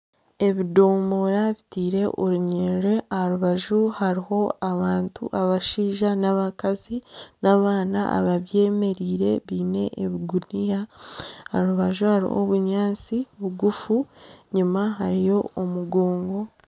Ebidoomora bitaire orunyiriri aha rubaju hariho abantu abashaija n'abakazi n'abaana ababyemereire biine ebiguniya aha rubaju hariho obunyaatsi bugufu enyuma hariyo omugongo.